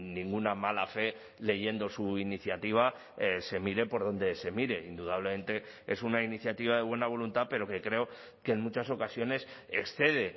ninguna mala fe leyendo su iniciativa se mire por donde se mire indudablemente es una iniciativa de buena voluntad pero que creo que en muchas ocasiones excede